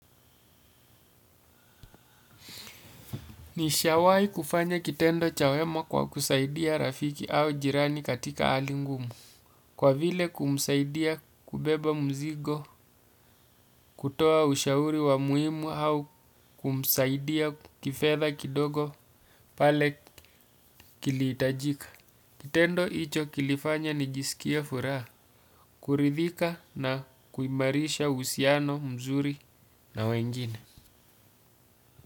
Nishawai kufanya kitendo cha wema kwa kusaidia rafiki au jirani katika hali ngumu. Kwa vile kumsaidia kubeba mzigo, kutoa ushauri wa muhimu au kumsaidia kifedha kidogo pale kilihitajika. Kitendo hicho kilifanya nijisikie furaha, kuridhika na kuimarisha uhusiano mzuri na wengine.